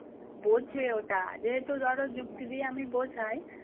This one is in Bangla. বোঝে ওটা যেহেতু ধরো যুক্তি দিয়ে আমি বোঝাই